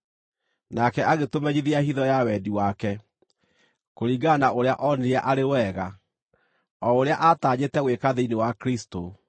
Nake agĩtũmenyithia hitho ya wendi wake, kũringana na ũrĩa oonire arĩ wega, o ũrĩa aatanyĩte gwĩka thĩinĩ wa Kristũ,